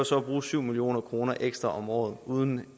så at bruge syv million kroner ekstra om året uden at